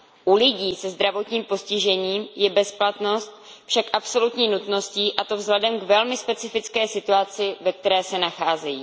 U lidí se zdravotním postižením je bezplatnost však absolutní nutností, a to vzhledem k velmi specifické situaci, ve které se nacházejí.